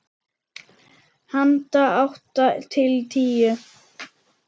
Handa átta til tíu